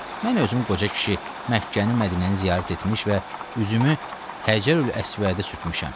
Mən özüm qoca kişi, Məkkəni, Mədinəni ziyarət etmiş və üzümü Həcərül-Əsvədə sürtmüşəm.